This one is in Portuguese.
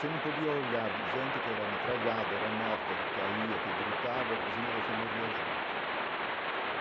Se não podia olhar de gente que era metralhada, era morta, que caía, que gritava, porque senão você morria junto.